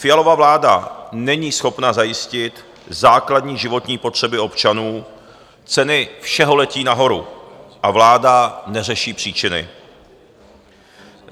Fialova vláda není schopna zajistit základní životní potřeby občanů, ceny všeho letí nahoru a vláda neřeší příčiny.